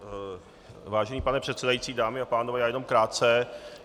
Vážený pane předsedající, dámy a pánové, já jenom krátce.